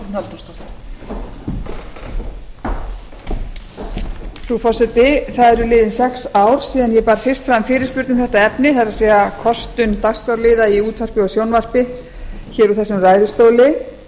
frú forseti það eru liðin sex ár síðan ég bar fyrst fram fyrirspurn um þetta efni það er kostun dagskrárliða í útvarpi og sjónvarpi hér í þessum ræðustóli